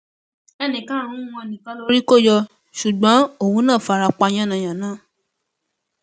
ẹnì karùnún wọn nìkan lórí kò yọ ṣùgbọn òun náà fara pa yánnayànna